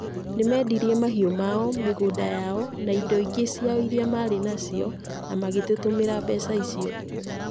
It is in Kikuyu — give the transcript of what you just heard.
Nĩ meendirie mahiũ mao, mĩgũnda yao, na indo ingĩ ciao irĩa marĩ nacio na magĩtũtũmira mbeca icio.